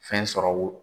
Fɛn sɔrɔ wo